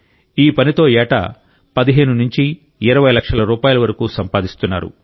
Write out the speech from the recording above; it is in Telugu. ఈ పనితో ఏటా 15 నుంచి 20 లక్షల రూపాయల వరకు సంపాదిస్తున్నారు